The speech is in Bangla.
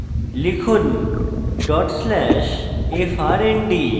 লিখুন: dot slash frnd